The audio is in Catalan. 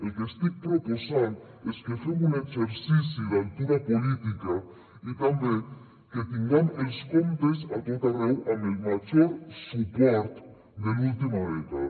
el que estic proposant és que fem un exercici d’altura política i també que tinguem els comptes a tot arreu amb el major suport de l’última dècada